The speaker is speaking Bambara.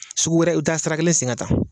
Sugu wɛrɛ i bɛ taa sira sen ka taa